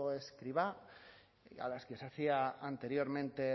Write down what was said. escrivá a las que se hacía anteriormente